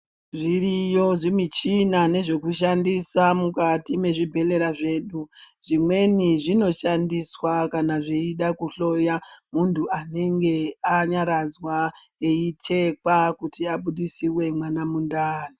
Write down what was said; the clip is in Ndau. Zviriyo zvimichina nezvekushandisa mukati mwezvibhedhlera zvedu zvimweni zvinoshqndiswa kana zveide kuhloya munthu anenge anyaradzwa eichekwa kuti abudisiwe mwana mundani.